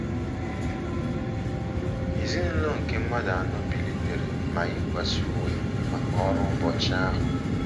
Ezinụlọ nke mmadụ anọ bilitere ma yikwasịa uwe maka ọrụ ụbọchị ahụ.